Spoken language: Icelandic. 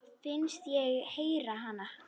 Finnst ég heyra hana.